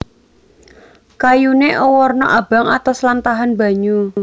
Kayuné awarna abang atos lan tahan banyu